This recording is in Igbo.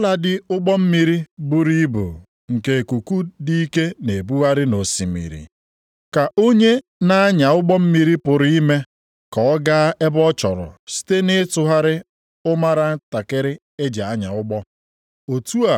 Otu a kwa, ọ bụladị ụgbọ mmiri buru ibu nke ikuku dị ike na-ebugharị nʼosimiri, ka onye na-anya ụgbọ mmiri pụrụ ime ka ọ gaa ebe ọ chọrọ site nʼịtụgharịa ụmara ntakịrị e ji anya ụgbọ.